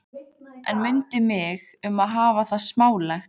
En mundu mig um að hafa það smálegt.